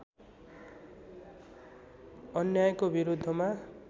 अन्यायको विरुद्धमा